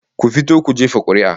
Ku fito ku jefa kuri'a